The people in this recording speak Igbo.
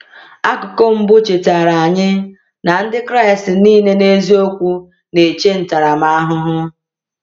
Akụkụ mbụ chetara anyị na Ndị Kraịst niile n’eziokwu na-eche ntaramahụhụ.